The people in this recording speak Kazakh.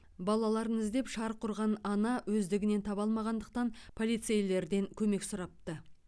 балаларын іздеп шарқ ұрған ана өздігінен таба алмағандықтан полицейлерден көмек сұрапты